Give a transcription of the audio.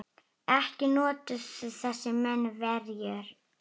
Ekki notuðu þessir menn verjur.